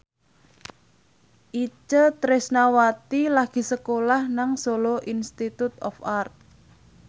Itje Tresnawati lagi sekolah nang Solo Institute of Art